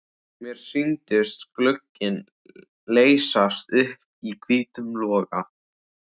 Mér sýndist glugginn leysast upp í hvítum loga.